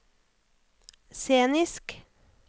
scenisk